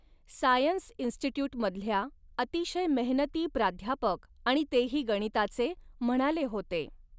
Science इन्स्टिट्युटमधल्या अतिशय मेहनती प्राध्यापक आणि तेही गणिताचे, म्हणाले होते.